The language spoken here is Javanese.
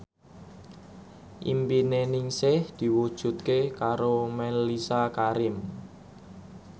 impine Ningsih diwujudke karo Mellisa Karim